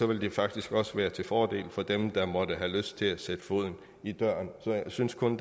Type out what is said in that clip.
vil det faktisk også være til fordel for dem der måtte have lyst til at sætte foden i døren så jeg synes kun